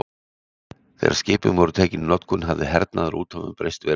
þegar skipin voru tekin í notkun hafði hernaður á úthöfum breyst verulega